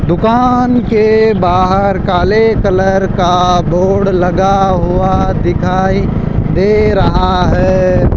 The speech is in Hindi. दुकान के बाहर काले कलर का बोर्ड लगा हुआ दिखाई दे रहा है।